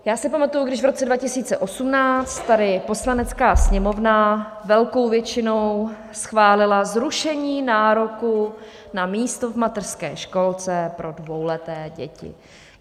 Já si pamatuji, když v roce 2018 tady Poslanecká sněmovna velkou většinou schválila zrušení nároku na místo v mateřské školce pro dvouleté děti.